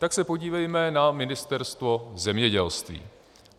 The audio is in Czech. Tak se podívejme na Ministerstvo zemědělství.